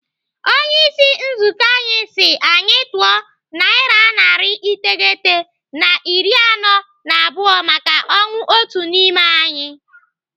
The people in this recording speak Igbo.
Onyeisi nzukọ anyị si anyị tụọ naira narị iteghete na iri anọ na abụọ maka ọnwụ otu n'ime anyị.